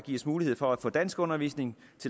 mulighed for at få danskundervisning